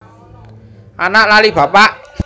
Anak lali bapak